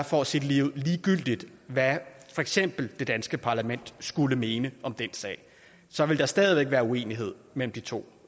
for at sige det ligeud er ligegyldigt hvad for eksempel det danske parlament skulle mene om den sag så vil der stadig væk være uenighed mellem de to